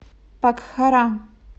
покхара